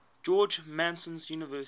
george mason university